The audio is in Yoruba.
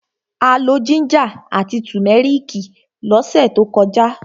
A lọ jíńjà àti tùmẹ́rìkì lọ́sẹ̀ tó kọjá.